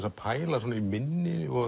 að pæla í minni